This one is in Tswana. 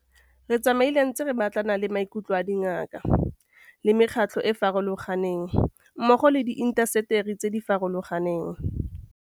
Re tsamaile re ntse re batlana le maikutlo a dingaka, a mekgatlho e e farologaneng mmogo le a diintaseteri tse di farologaneng.